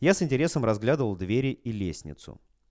я с интересом разглядывал двери и лестницу